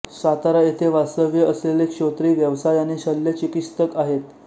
सातारा येथे वास्तव्य असलेले श्रोत्री व्यवसायाने शल्यचिकित्सक आहेत